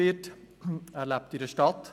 Er lebt in einer Stadt.